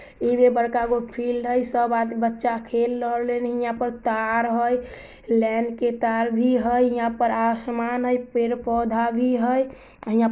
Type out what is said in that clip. इमे बड़का गो फील्ड हेय सब बच्चे खेल रहले है यहाँ तार है लैन के तार भी है यहाँ पर आसमान भी है पेड़-पौधे भी हेय। हीया---